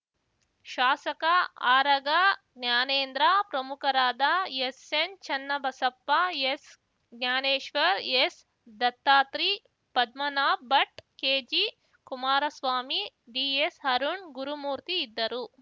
ಶಾಸಕ ಆರಗ ಜ್ಞಾನೇಂದ್ರ ಪ್ರಮುಖರಾದ ಎಸ್‌ಎನ್‌ ಚನ್ನಬಸಪ್ಪ ಎಸ್‌ ಜ್ಞಾನೇಶ್ವರ್‌ ಎಸ್‌ ದತ್ತಾತ್ರಿ ಪದ್ಮನಾಭ್‌ ಭಟ್‌ ಕೆಜಿ ಕುಮಾರಸ್ವಾಮಿ ಡಿಎಸ್‌ಅರುಣ್‌ ಗುರುಮೂರ್ತಿ ಇದ್ದರು